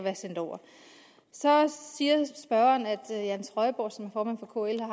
er sendt over så siger spørgeren at jan trøjborg som er formand for kl er